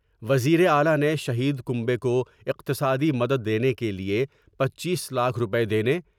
وزیر اعلی نے شہید کنبے کو اقتصادی مدد دینے کے لئے پنچیس لاکھ روپے دینے ۔